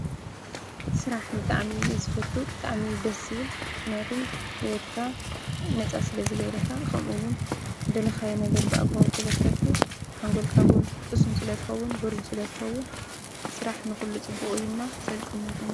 ስራሕ ሕልናኻ ነፃ ይገብረካ፣ የኽብረካ ስለ ወድሰብ ክሰርሕ ኣለዎ።